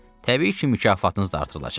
Təbii ki mükafatınız da artırılacaq.